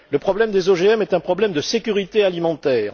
Le problème des OGM est un problème de sécurité alimentaire.